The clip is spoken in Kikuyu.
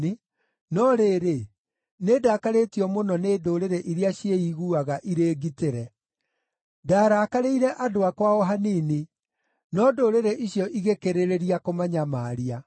no rĩrĩ, nĩndakarĩtio mũno nĩ ndũrĩrĩ iria ciĩiguaga irĩ ngitĩre. Ndaarakarĩire andũ akwa o hanini, no ndũrĩrĩ icio igĩkĩrĩrĩria kũmanyamaria.’